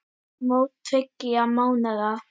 Mót tveggja mánaða.